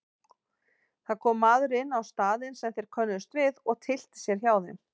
Það kom maður inn á staðinn sem þeir könnuðust við og tyllti sér hjá þeim.